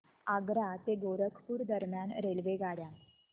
आग्रा ते गोरखपुर दरम्यान रेल्वेगाड्या